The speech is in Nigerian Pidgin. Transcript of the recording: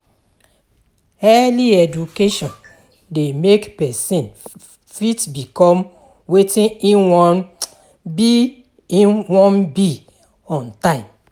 Early education de make persin fit become wetin im won be im won be on time